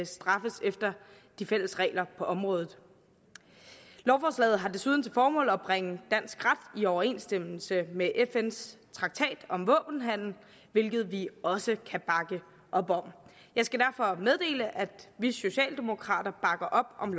straffes efter de fælles regler på området lovforslaget har desuden til formål at bringe dansk ret i overensstemmelse med fns traktat om våbenhandel hvilket vi også kan bakke op om jeg skal derfor meddele at vi socialdemokrater bakker op om